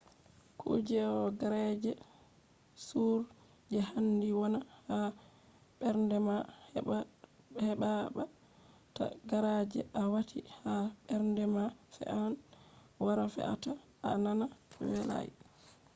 ɗo kuje on je handi wona ha mbernde ma heɓa ta kuje a wati ha mbernde ma fe’an wara fe’ata a nana welai